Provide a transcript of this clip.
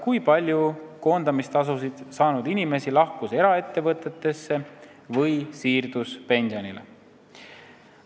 Kui palju koondamistasusid saanud inimesi lahkus eraettevõtlusesse või siirdus pensionile?